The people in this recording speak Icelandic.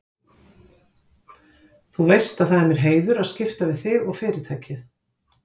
Þú veist að það er mér heiður að skipta við þig og Fyrirtækið.